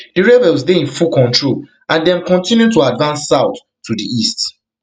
di rebels dey in full control and dem kontinu to advance south to di east